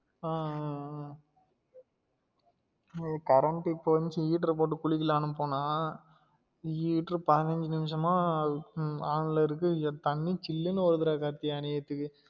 ஆஹ் ஆஹ் ஆஹ் current இப்ப வந்துச்சு heater போட்டு குளிக்கலாம்னு போனா heater பந்தினஞ்சு நிமிசமா ஹம் on ல இருக்கு தண்ணி சில்லுனு வருதுடா அநியாயத்துக்கு